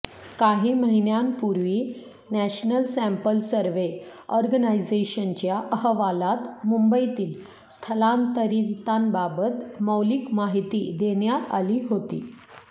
काही महिन्यांपूर्वी national sample survey ऑर्गनायझेशनच्या अहवालात मुंबईतील स्थलांतरितांबाबत मौलिक माहिती देण्यात आली होती